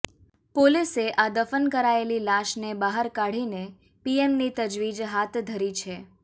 પોલીસે આ દફન કરાયેલી લાશને બહાર કાઢીને પીએમની તજવીજ હાથ ધરી છે